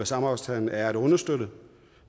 samarbejdsaftalen er at understøtte